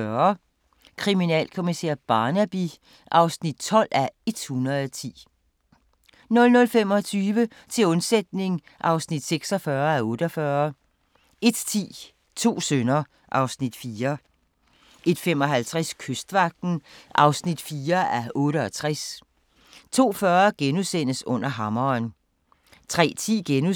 22:45: Kriminalkommissær Barnaby (12:110) 00:25: Til undsætning (46:48) 01:10: To sønner (Afs. 4) 01:55: Kystvagten (4:68) 02:40: Under hammeren *